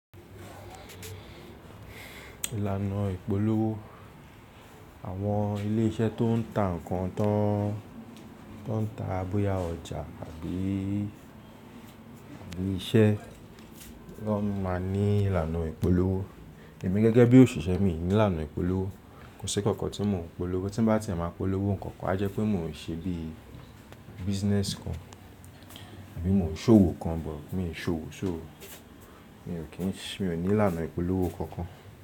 Ìlànà ìpolówó àwọn ilé iṣẹ́ tó n ta ǹkan tán, tó n ta boyá ọjà àbí iṣẹ́, wọ́n máa ní ìlànà ìpolówó. Ẹ̀mi gẹ́gẹ́ bí òṣìṣẹ́ mi ní ìlànà ìpolówó. Kò sí kankan tí mò ń polówó, tí bá ti ẹ̀ máa polówó nǹkan kan, a jẹ́ pé mò ń ṣe bíi business kan àbí mò ń ṣòwò kan, but mi ò ṣòwò so Mi ò ní ìlànà ìpolówó kankan.